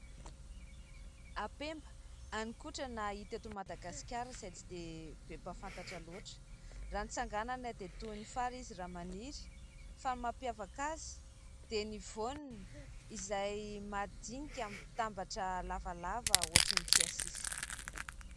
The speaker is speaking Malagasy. Ampemba hanikotrana hita eto Madagasikara izay tsy dia be mpahafantatra loatra, raha ny tsanganana dia toy ny fary izy raha maniry ; fa ny mampiavaka azy dia ny voaniny izay madinika mitambatra lavalava otrany tsiasisa.